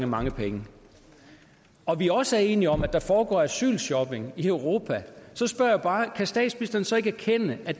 mange penge og vi også er enige om at der foregår asylshopping i europa så spørger jeg bare kan statsministeren så ikke erkende at